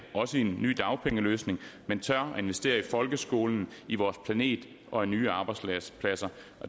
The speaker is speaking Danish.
også i en ny dagpengeløsning men tør investere i folkeskolen i vores planet og nye arbejdspladser